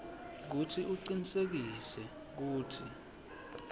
kutsi ucinisekise kutsi